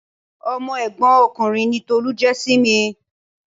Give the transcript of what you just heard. Ọmọ ẹ̀gbọ́n ọkùnrin ni Tolu jẹ́ sí mi.